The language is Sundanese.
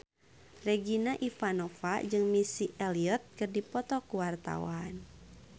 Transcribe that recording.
Regina Ivanova jeung Missy Elliott keur dipoto ku wartawan